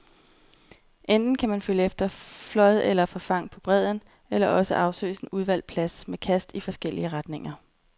Enten kan man følge efter flåd eller forfang på bredden, eller også afsøges en udvalgt plads med kast i forskellige retninger.